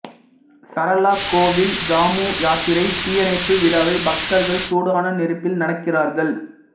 சரளா கோவிலில் ஜாமு யாத்திரை தீயணைப்பு விழாவில் பக்தர்கள் சூடான நெருப்பில் நடக்கிறார்கள்